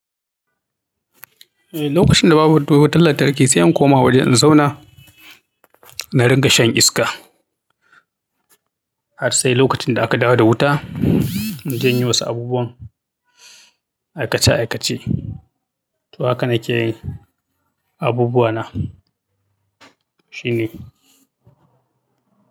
Eh, lokacin da babu ruwan lantarki, zan koma wajen zauna na ringa shan iska har sai lokacin da aka dawo da wuta in je inyi wasu abubuwan aikace-aikace. To haka nake yi, abubuwa na shine.